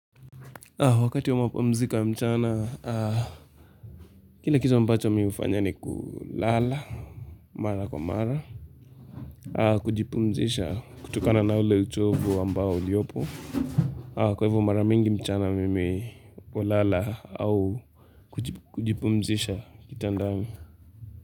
Wakati wa mapumziko ya mchana, kile kitu ambacho mi hufanya ni kulala, mara kwa mara, kujipumzisha kutokana na ule uchovu ambao uliopo, kwa hivyo maramingi mchana mimi kulala au kujipumzisha kitandani.